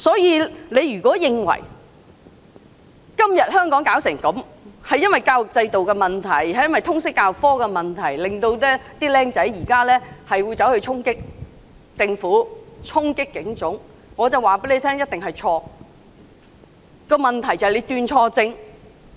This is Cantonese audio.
因此，如果有人認為香港今天的局面源於教育制度出了問題、源於通識教育科出了問題，以致年輕人衝擊政府、衝擊警察總部，這必定是"斷錯症"。